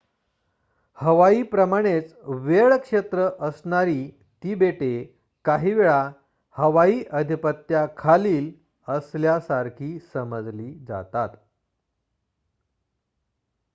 "हवाई प्रमाणेच वेळ क्षेत्र असणारी ती बेटे काही वेळा हवाई आधिपत्या खालील" असल्यासारखी समजली जातात.